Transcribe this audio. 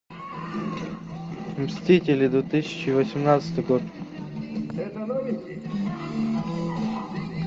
мстители две тысячи восемнадцатый год